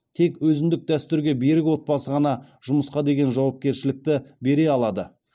тек өзіндік дәстүрге берік отбасы ғана жұмысқа деген жауапкершілікті бере алады